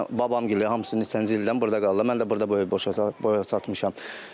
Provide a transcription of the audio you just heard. Yəni babam gəlib hamısı neçənci ildən burda qalıblar, mən də burda böyük boya çatmışam.